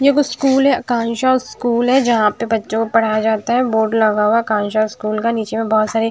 ये कुछ स्कूल है आकांक्षा स्कूल है जहां पे बच्चों को पढ़ाया जाता है बोर्ड लगा हुआ आकांक्षा स्कूल का नीचे में बहुत सारे--